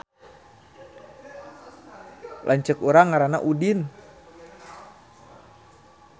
Lanceuk urang ngaranna Udin